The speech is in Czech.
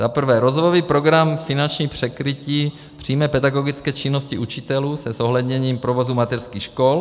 Za prvé Rozvojový program finanční překrytí přímé pedagogické činnosti učitelů se zohledněním provozu mateřských škol.